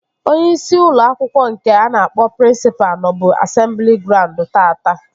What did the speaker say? Onyeisi ụlọ akwụkwọ nke a na-akpọ prịnsịpa nọbu asemblị graund taata